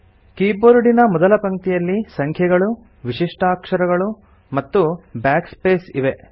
ಕೀಬೋರ್ಡಿನ ಮೊದಲ ಪಂಕ್ತಿಯಲ್ಲಿ ಸಂಖ್ಯೆಗಳು ವಿಶಿಷ್ಟಾಕ್ಷರಗಳು ಮತ್ತು Backspace ಇವೆ